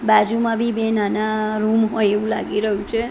બાજુમાં બી બે નાના રૂમ હોય એવું લાગી રહ્યું છે.